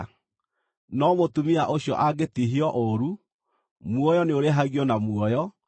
No mũtumia ũcio angĩtihio ũũru, muoyo nĩũrĩhagio na muoyo, na